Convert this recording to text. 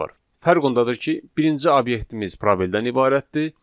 Fərq ondadır ki, birinci obyektimiz probeldən ibarətdir,